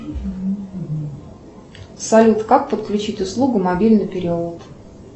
салют как подключить услугу мобильный перевод